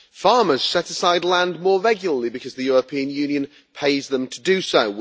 Farmers set aside land more regularly, because the European Union pays them to do so.